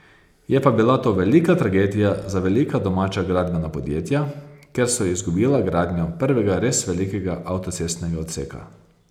Je pa bila to velika tragedija za velika domača gradbena podjetja, ker so izgubila gradnjo prvega res velikega avtocestnega odseka.